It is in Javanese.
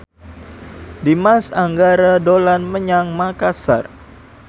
Dimas Anggara dolan menyang Makasar